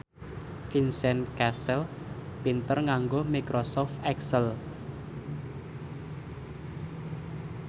Vincent Cassel pinter nganggo microsoft excel